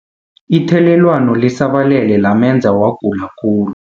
Ithelelwano lisabalele lamenza wagula khulu.